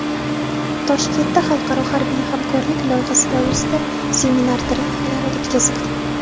Toshkentda xalqaro harbiy hamkorlik loyihasi doirasida seminar-treninglar o‘tkazildi.